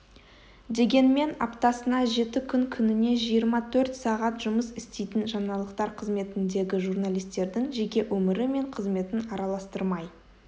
дегенмен аптасына жеті күн күніне жиырма төрт сағат жұмыс істейтін жаңалықтар қызметіндегі журналистердің жеке өмірі мен қызметін араластырмай